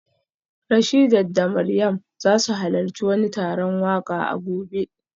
Rashidat da Mariam za su halarci wani taron waka a gobe